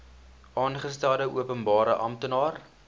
aangestelde openbare amptenaar